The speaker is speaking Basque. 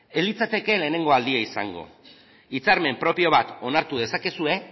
ez litzateke lehenengo aldia izango hitzarmen propio bat onartu dezakezue